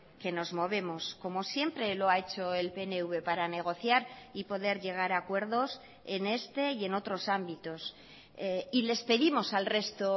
que nos movemos como siempre lo ha hecho el pnv para negociar y poder llegar a acuerdos en este y en otros ámbitos y les pedimos al resto